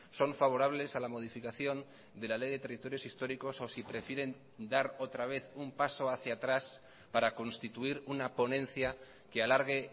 son favorables a la modificación de la ley de territorios históricos o si prefieren dar otra vez un paso hacia atrás para constituir una ponencia que alargue